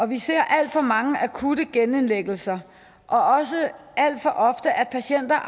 vi ser alt for mange akutte genindlæggelser og også alt for ofte at patienter